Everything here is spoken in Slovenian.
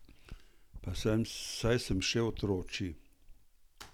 Pa saj sem še otročji!